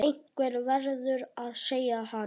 Einhver verður að segja hann.